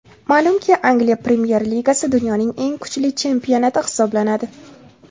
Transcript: Ma’lumki, Angliya Premyer Ligasi dunyoning eng kuchli chempionati hisoblanadi.